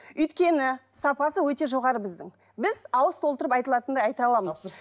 өйткені сапасы өте жоғары біздің біз ауыз толтырып айта алатындай айта аламыз тапсырыс